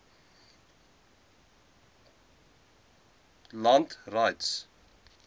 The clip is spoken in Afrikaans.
communal land rights